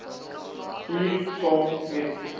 hier saam met